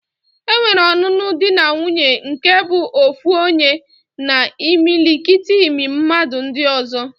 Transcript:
Enwere ọnụnụ di na nwuńye nke bụ ofu onye na imilikiti mmadu ndi ozo